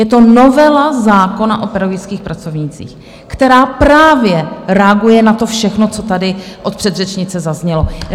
Je to novela zákona o pedagogických pracovnících, která právě reaguje na to všechno, co tady od předřečnice zaznělo.